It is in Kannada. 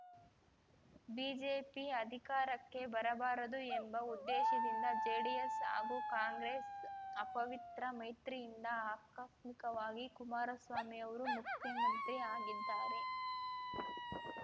ಬಿಜೆಪಿ ಅಧಿಕಾರಕ್ಕೆ ಬರಬಾರದು ಎಂಬ ಉದ್ದೇಶದಿಂದ ಜೆಡಿಎಸ್‌ ಹಾಗೂ ಕಾಂಗ್ರೆಸ್‌ ಅಪವಿತ್ರ ಮೈತ್ರಿಯಿಂದ ಆಕಸ್ಮಿಕವಾಗಿ ಕುಮಾರಸ್ವಾಮಿ ಅವರು ಮುಖ್ಯಮಂತ್ರಿ ಆಗಿದ್ದಾರೆ